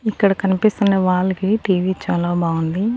ఇక్కడ కనిపిస్తున్న వాల్ కి టీవీ చాలా బాగుంది.